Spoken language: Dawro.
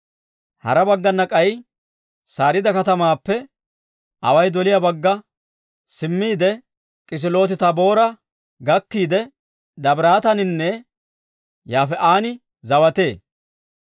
Hara baggana k'ay Sariida katamaappe away doliyaa bagga simmiide, Kisilooti-Taaboora gakkiide, Dabiraataaninne Yaafi'an zawatee.